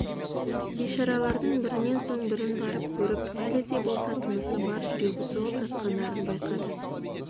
бейшаралардың бірінен соң бірін барып көріп әлі де болса тынысы бар жүрегі соғып жатқандарын байқады